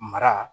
Mara